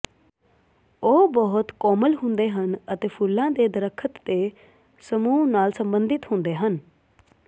ਉਹ ਬਹੁਤ ਕੋਮਲ ਹੁੰਦੇ ਹਨ ਅਤੇ ਫੁੱਲਾਂ ਦੇ ਦਰਖ਼ਤ ਦੇ ਸਮੂਹ ਨਾਲ ਸੰਬੰਧਿਤ ਹੁੰਦੇ ਹਨ